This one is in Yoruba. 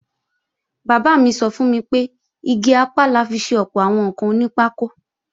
Bàbá mi sọ fún mi pé igi apá la fi ṣe ọ̀pọ̀ àwọn ǹkan onípákó